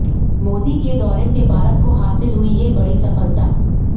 मोदी के दौरे से भारत को हासिल हुई ये बड़ी सफलता